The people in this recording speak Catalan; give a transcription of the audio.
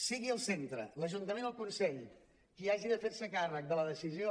sigui el centre l’ajuntament o el consell qui hagi de fer se càrrec de la decisió